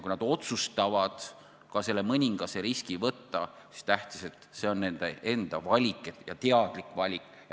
Kui nad otsustavad ka selle mõningase riski võtta, siis on tähtis, et see on nende enda valik ja teadlik valik.